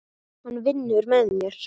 Hann vinnur með mér.